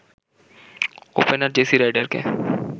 opener Jesse রাইডারকে